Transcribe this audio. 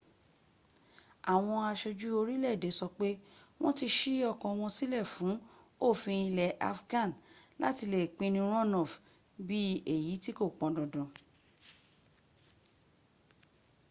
àwọn aṣojú orílẹ̀ èdè sọ pé wọ́n ti ṣí ọkàn wọn sílẹ̀ fún òfin ilẹ̀ afghan láti lè pinu runoff bí èyí tí kò pọ́ndandan